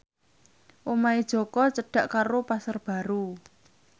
omahe Jaka cedhak karo Pasar Baru